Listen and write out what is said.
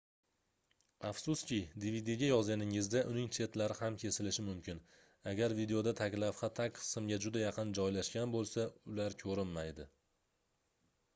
afsuski dvdga yozganingizda uning chetlari ham kesilishi mumkin agar videoda taglavha tag qismga juda yaqin joylashgan boʻlsa ular koʻrinmaydi